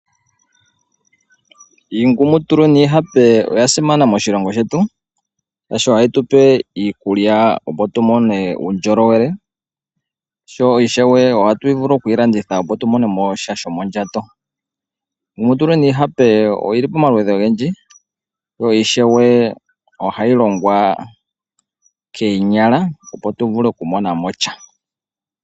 Iingumutulu niihape oya simana moshilongo shetu shaashi ohayi tupe iikulya opo tumone uundjolowele sho ishewe ohatu yi vulu okuyi landitha opo tumonemo sha shomondjato. Iingumutulu niihape oyili pomaludhi ogendji yo ishewe ohayi longwa koonyala opo tuvule oku monamo sha.